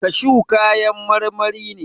Kashu kayan marmari ne.